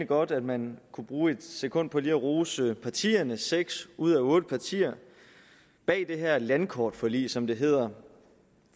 godt at man kunne bruge et sekund på lige at rose partierne seks ud af otte partier bag det her landkortforlig som det hedder